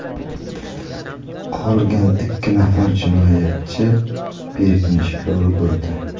Qolgan ikki nafar jinoyatchi berkinishga ulgurdi.